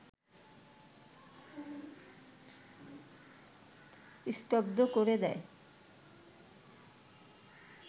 স্তব্ধ করে দেয়